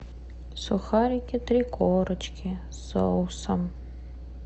сухарики три корочки с соусом